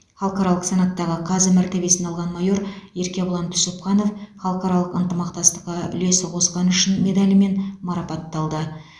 халықаралық санаттағы қазы мәртебесін алған майор еркебұлан түсіпханов халықаралық ынтымақтастыққа үлесі қосқаны үшін медалімен марапатталды